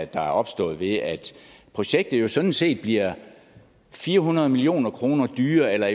der er opstået ved at projektet jo sådan set bliver fire hundrede million kroner dyrere eller